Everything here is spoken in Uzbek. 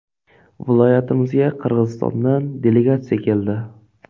Viloyatimizga Qirg‘izistondan delegatsiya keldi.